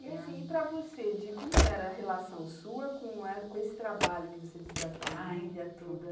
E assim, e para você, de como era a relação sua com com esse trabalho que você diz da família ai toda?